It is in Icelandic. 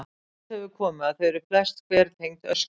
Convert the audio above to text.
Í ljós hefur komið að þau eru flest hver tengd öskjum.